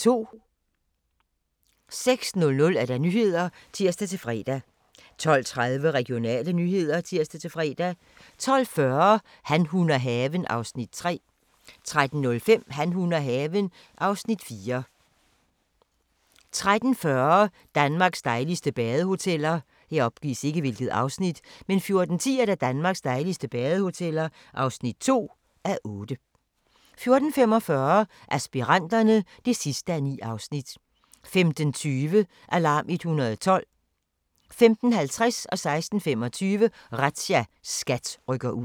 06:00: Nyhederne (tir-fre) 12:30: Regionale nyheder (tir-fre) 12:40: Han, hun og haven (Afs. 3) 13:05: Han, hun og haven (Afs. 4) 13:40: Danmarks dejligste badehoteller 14:10: Danmarks dejligste badehoteller (2:8) 14:45: Aspiranterne (9:9) 15:20: Alarm 112 15:50: Razzia - SKAT rykker ud 16:25: Razzia - SKAT rykker ud